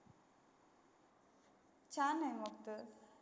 छान आहे मग त.